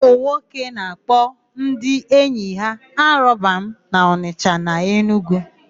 Ụmụnwoke na-akpọ ndị enyi ha alọbamụ n'Ọnịsha na Enugwu.